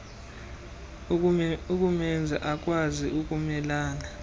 ukumenza akwazi ukumelana